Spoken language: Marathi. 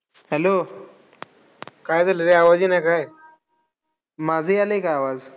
Hello काय झालं रे? आवाज येई ना का काय? माझा यायलाय का आवाज?